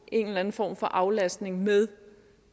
en eller anden form for aflastning med